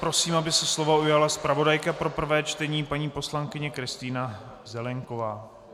Prosím, aby se slova ujala zpravodajka pro prvé čtení paní poslankyně Kristýna Zelienková.